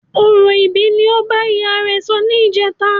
Orò ìbí ni ó bá ìyá rẹ sọ ni ìjeta